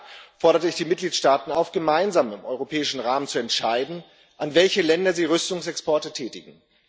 Darin forderte ich die Mitgliedstaaten auf, gemeinsam im europäischen Rahmen zu entscheiden, an welche Länder sie Rüstungsexporte tätigen.